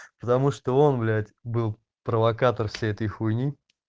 потому что он блять был провокатор всей этой хуйни